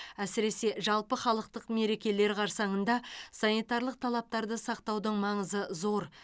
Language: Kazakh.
әсіресе жалпыхалықтық мерекелер қарсаңында санитарлық талаптарды сақтаудың маңызы зор